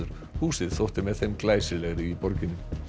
húsið þótti með þeim glæsilegri í borginni